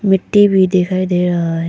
मिट्टी भी दिखाई दे रहा है।